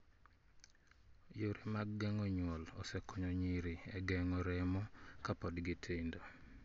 Yore mag geng'o nyuol osekonyo nyiri e gengo remo kapod gi tindo.